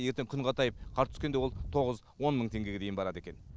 ертең күн қатайып қар түскенде ол тоғыз он мың теңгеге дейін барады екен